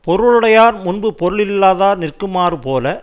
பொருளுடையார் முன்பு பொருளில்லாதார் நிற்குமாறு போல